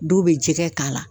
Dɔw be jɛgɛ k'a la